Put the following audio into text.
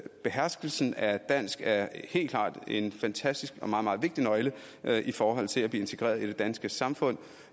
beherskelsen af dansk er helt klart en fantastisk og meget meget vigtig nøgle i forhold til at blive integreret i det danske samfund